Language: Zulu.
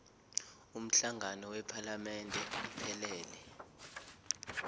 umhlangano wephalamende iphelele